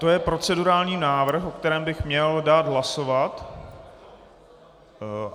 To je procedurální návrh, o kterém bych měl dát hlasovat.